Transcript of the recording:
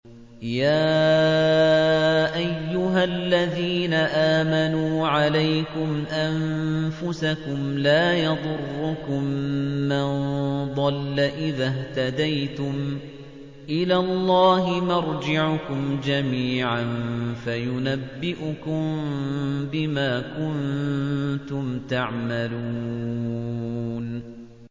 يَا أَيُّهَا الَّذِينَ آمَنُوا عَلَيْكُمْ أَنفُسَكُمْ ۖ لَا يَضُرُّكُم مَّن ضَلَّ إِذَا اهْتَدَيْتُمْ ۚ إِلَى اللَّهِ مَرْجِعُكُمْ جَمِيعًا فَيُنَبِّئُكُم بِمَا كُنتُمْ تَعْمَلُونَ